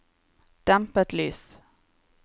dempet lys